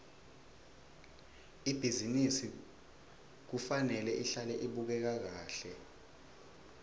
ibhizinisi kufanele ihlale ibukeka kahle